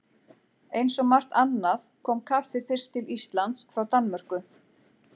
Eins og margt annað kom kaffið fyrst til Íslands frá Danmörku.